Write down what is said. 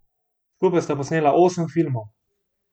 Skupaj sta posnela osem filmov.